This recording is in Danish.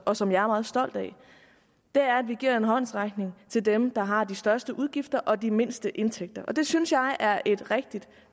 og som jeg er meget stolt af er at vi giver en håndsrækning til dem der har de største udgifter og de mindste indtægter det synes jeg er et rigtigt